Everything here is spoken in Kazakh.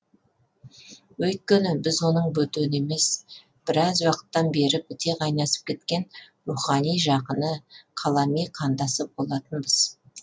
өйткені біз оның бөтені емес біраз уақыттан бері біте қайнасып кеткен рухани жақыны қалами қандасы болатынбыз